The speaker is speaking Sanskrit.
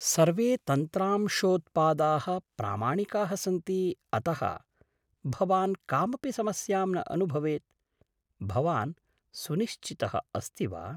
सर्वे तन्त्रांशोत्पादाः प्रामाणिकाः सन्ति अतः भवान् कामपि समस्यां न अनुभवेत्। भवान् सुनिश्चितः अस्ति वा?